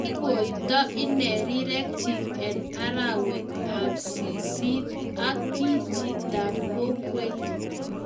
Kikoito ine rirek chik eng arawet ap ssisit ak ki chito ap kokwet